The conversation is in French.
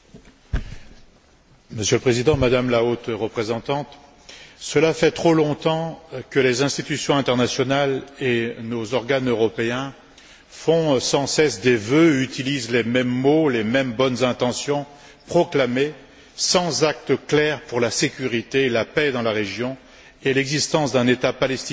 Monsieur le Président, Madame la Haute représentante, cela fait trop longtemps que les institutions internationales et nos organes européens font sans cesse des vœux, utilisent les mêmes mots, les mêmes bonnes intentions proclamées sans acte clair pour la sécurité et la paix dans la région et l'existence d'un État palestinien dans les frontières de